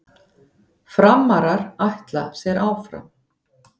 Framarar ætla sér áfram